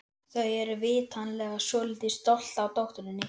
Þau eru vitanlega svolítið stolt af dótturinni.